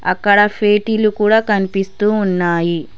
అక్కడ స్వీటీలు కూడ కనిపిస్తూ ఉన్నాయి.